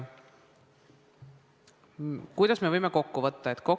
Kuidas me võime kokku võtta?